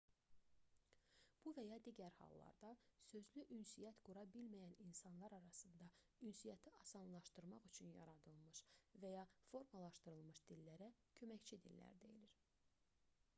bu və ya digər hallarda sözlü ünsiyyət qura bilməyən insanlar arasında ünsiyyəti asanlaşdırmaq üçün yaradılmış və ya formalaşdırılmış dillərə köməkçi dillər deyilir